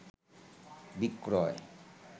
বিক্রয়